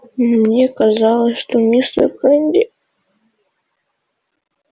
мне казалось что мистер кенди